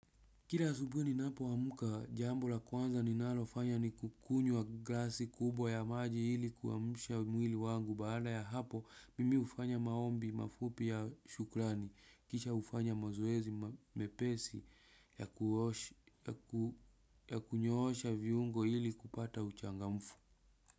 Kila asubuhi ninapoamka, jambo la kwanza ninalofanya ni kukunywa glasi kubwa ya maji ili kuamsha mwili wangu, baada ya hapo mimi hufanya maombi mafupi ya shukrani kisha hufanya mazoezi mepesi ya kunyoosha viungo ili kupata uchangamfu.